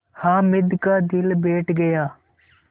हामिद का दिल बैठ गया